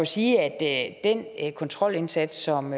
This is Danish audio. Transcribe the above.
sige at kontrolindsats som